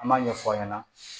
An m'a ɲɛfɔ aw ɲɛna